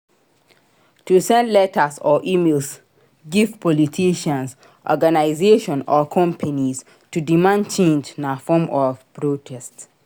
To send letters or emails give politicians organisation or companies to demand change na form of protest